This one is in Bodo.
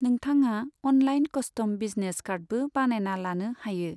नोंथाङा अनलाइन कस्टम बिजनेस कार्डबो बानायना लानो हायो।